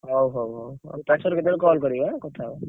ହଉ ହଉ ପଛରେ କେତେବେଳେ call କରିବ ଅନ୍ନ।